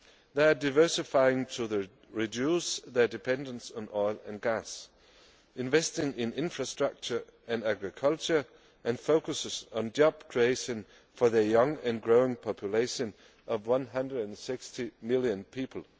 They are diversifying to reduce their dependence on oil and gas, investing in infrastructure and agriculture, and focusing on job creation for their young and growing population of 160 million people.